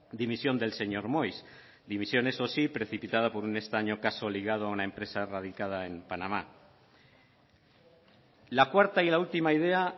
dimisión del señor moix dimisión eso sí precipitada por un extraño caso ligado a una empresa radicada en panamá la cuarta y la última idea